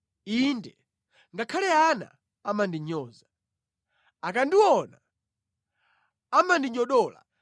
Inde, ngakhale ana amandinyoza; akandiona amandinyodola.